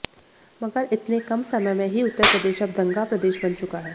मगर इतने कम समय में ही उत्तर प्रदेश अब दंगा प्रदेश बन चुका है